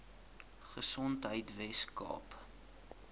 gesondheidweskaap